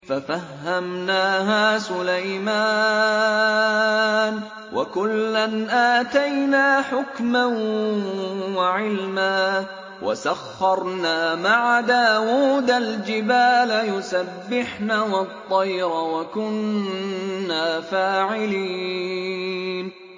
فَفَهَّمْنَاهَا سُلَيْمَانَ ۚ وَكُلًّا آتَيْنَا حُكْمًا وَعِلْمًا ۚ وَسَخَّرْنَا مَعَ دَاوُودَ الْجِبَالَ يُسَبِّحْنَ وَالطَّيْرَ ۚ وَكُنَّا فَاعِلِينَ